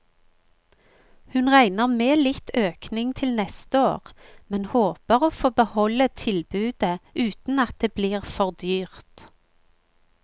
Hun regner med litt økning til neste år, men håper å få beholde tilbudet uten at det blir for dyrt.